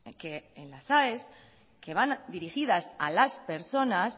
que en las aes que van dirigidas a las personas